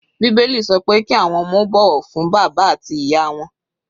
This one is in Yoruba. Bíbélì sọ pé kí àwọn ọmọ ó bọ̀wọ̀ fún bàbá àti ìyá wọn.